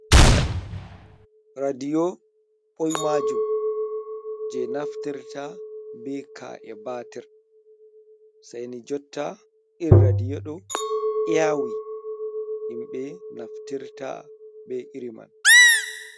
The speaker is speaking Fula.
Radiyo ɓoimajum je naftirta be kae batir, sei ni jotta iri radiyo ɗo yaawi, himɓe naftirta be iri man.